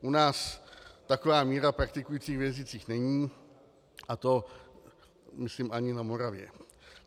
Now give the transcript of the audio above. U nás taková míra praktikujících věřících není, a to myslím ani na Moravě.